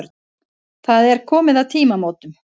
Það er komið að tímamótunum.